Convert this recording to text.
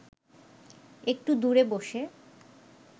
একটু দূরে বসে